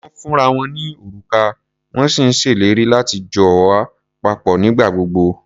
Wọ́n ń fúnra wọn ní òrùka, wọ́n sì ń ṣèlérí láti jọ wà papọ̀ nígbà gbogbo.